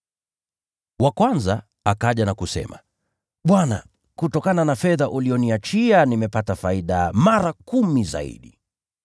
“Wa kwanza akaja na kusema, ‘Bwana, kutokana na fedha uliyoniachia, nimepata faida mara kumi zaidi.’